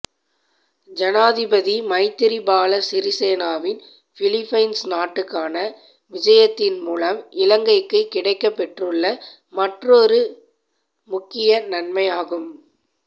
ஜனாதிபதி மைத்ரிபால சிறிசேனவின் பிலிப்பைன்ஸ் நாட்டுக்கான விஜயத்தின்மூலம் இலங்கைக்கு கிடைக்கப்பெற்றுள்ள மற்றுமொரு முக்கிய நன்மையாகும்